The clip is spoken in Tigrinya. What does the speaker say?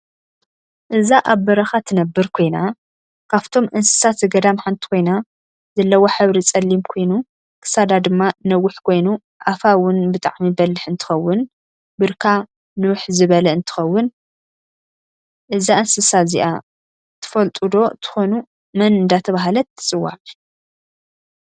እዛ ኣብ በረካ ትነብር ኮይና ካፍቶም እንስሳ ዘገዳም ሓንቲ ኮይና ዘለዋ ሕብሪ ፀላም ኮይኑ ክሳዳ ድማ ነውሕ ኮይኑ ኣፋ እውን ብጣዓሚ በልሕ እንትከውን ብርካ ንውሕ ዝበለ እንትከውን እዛ እንስሳ እዘኣ ትፍልጥዶ ትከኑ መን እዳተበሃለት ትፅዋዕ?